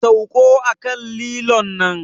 Sauka a kan lilon nan!